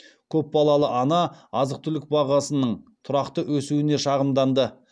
көпбалалы ана азық түлік бағасының тұрақты өсуіне шағымданды